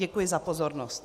Děkuji za pozornost.